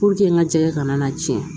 n ka jɛkɛ kana na tiɲɛ